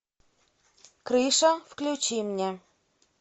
крыша включи мне